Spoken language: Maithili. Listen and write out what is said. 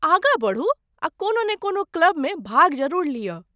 आगाँ बढ़ू आ कोनो ने कोनो क्लबमे भाग जरूर लिअ।